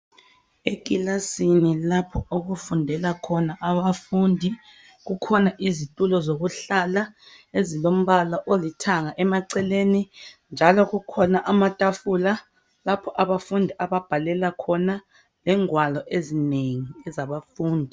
Ekilasini lapho okufundela khona abafundi kukhona izitulo zokuhlala ezilombala olithanga emaceleni njalo kukhona amatafula lapho abafundi ababhalela khona lezingwalo zabafundi